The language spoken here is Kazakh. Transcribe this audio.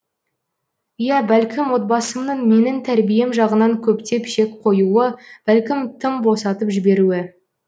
ия бәлкім отбасымның менің тәрбием жағынан көптеп шек қоюы бәлкім тым босатып жіберуі